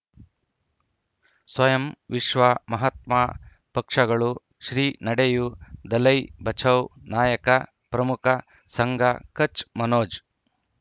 ಸ್ವಯಂ ವಿಶ್ವ ಮಹಾತ್ಮ ಪಕ್ಷಗಳು ಶ್ರೀ ನಡೆಯೂ ದಲೈ ಬಚೌ ನಾಯಕ ಪ್ರಮುಖ ಸಂಘ ಕಚ್ ಮನೋಜ್